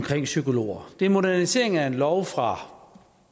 psykologer det er modernisering af en lov fra